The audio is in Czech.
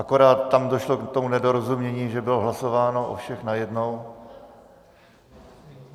Akorát tam došlo k tomu nedorozumění, že bylo hlasováno o všech najednou.